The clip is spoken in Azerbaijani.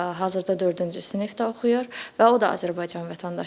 Hazırda dördüncü sinifdə oxuyur və o da Azərbaycan vətəndaşıdır.